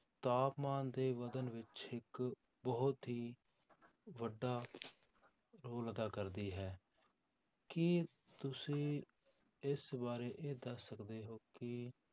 ਤਾਪਮਾਨ ਦੇ ਵਧਣ ਵਿੱਚ ਇੱਕ ਬਹੁਤ ਹੀ ਵੱਡਾ ਰੋਲ ਅਦਾ ਕਰਦੀ ਹੈ, ਕੀ ਤੁਸੀਂ ਇਸ ਬਾਰੇ ਇਹ ਦੱਸ ਸਕਦੇ ਹੋ ਕਿ